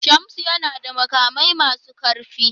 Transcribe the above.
Shamsu yana da makamai masu karfi.